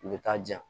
U bɛ taa di yan